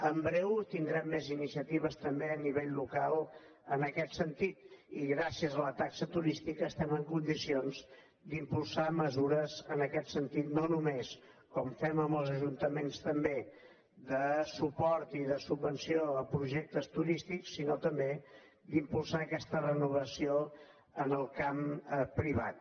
en breu tindrem més iniciatives també a nivell local en aquest sentit i gràcies a la taxa turística estem en condicions d’impulsar mesures en aquest sentit no només com fem amb els ajuntaments també de suport i de subvenció a projectes turístics sinó també d’impulsar aquesta renovació en el camp privat